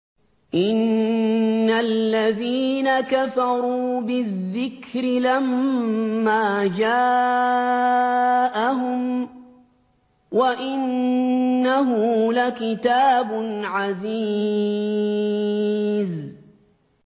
إِنَّ الَّذِينَ كَفَرُوا بِالذِّكْرِ لَمَّا جَاءَهُمْ ۖ وَإِنَّهُ لَكِتَابٌ عَزِيزٌ